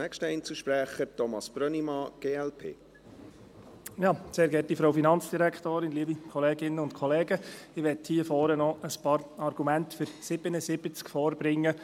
Ich will hier vorne noch ein paar Argumente für 77 aus Gemeindesicht vorbringen.